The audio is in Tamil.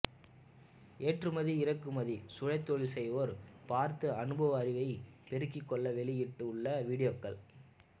ஏற்றுமதி இறக்குமதி சுயதொழில் செய்வோர் பார்த்து அனுபவ அறிவை பெருக்கிக்கொள்ள வெளியிட்டு உள்ள விடியோக்கள்